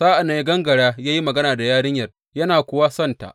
Sa’an nan ya gangara ya yi magana da yarinyar, yana kuwa sonsa.